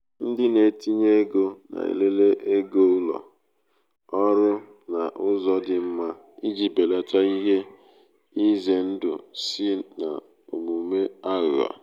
ndị na-etinye ego na-elele ego ụlọ ego ụlọ ọrụ n’ụzọ dị mma iji belata ihe ize ndụ si n’omume aghụghọ.